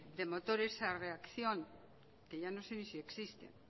de motores a reacción que ya no sé ni si existen